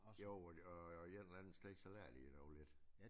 Jo og et eller andet sted så lærer de dog lidt